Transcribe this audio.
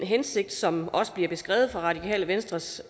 hensigt som bliver beskrevet fra radikale venstres